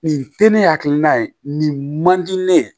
Nin te ne hakilina ye nin man di ne ye